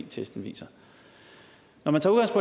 testen viser når man tager